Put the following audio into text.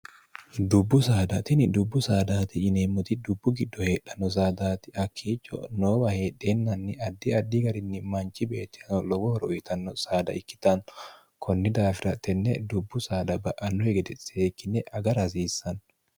dubbu saadatini dubbu saadaati yineemmoti dubbu giddo heedhanno saadaati hakkiicho noowa heedheennanni addi addi garinni manchi beettihano lowohoro uyitanno saada ikkitanno kunni daafira tenne dubbu saada ba'anno hegede seekkinne agar hasiissanno